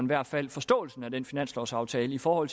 hvert fald forståelsen af den finanslovsaftale for